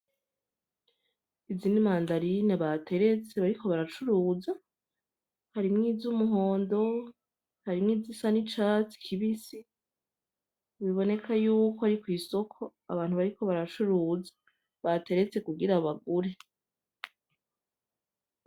Izi ni mandarine bateretse bariko baracuruza harimwo izumuhondo hari nizisa nicatsi kibisi biboneka yuko ari kwisoko abantu bariko baracuruza bateretse kugira bagure